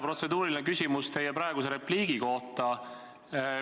Protseduuriline küsimus teie praeguse repliigi kohta.